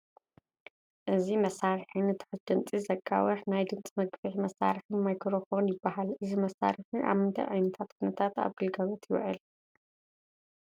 እዚ መሳርሒ ንትሑት ድምፂ ዘጋውሕ ናይ ድምፂ መግዘፊ መሳርሒ ማይክሮ ፎን ይበሃል፡፡ እዚ መሳርሒ ኣብ ምንታይ ዓይነት ኩነታት ኣብ ግልጋሎት ይውዕል?